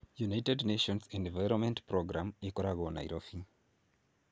United Nations Environment Programme ĩkoragwo Nairobi.